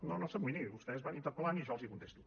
no no s’amoïni vostès van interpel·lant i jo els contesto